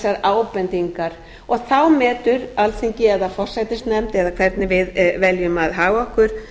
þessar ábendingar þá metur alþingi eða forsætisnefnd eða hvernig við veljum að haga okkur